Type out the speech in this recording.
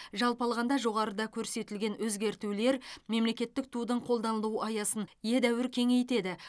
жалпы алғанда жоғарыда көрсетілген өзгертулер мемлекеттік тудың қолданылу аясын едәуір кеңейтеді